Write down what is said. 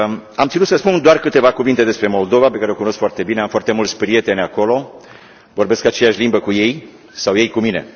Am ținut să spun doar câteva cuvinte despre Moldova, pe care o cunosc foarte bine, am foarte mulți prieteni acolo, vorbesc aceeași limbă cu ei, sau ei cu mine.